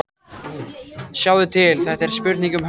Sjáðu til, þetta er spurning um höggstað.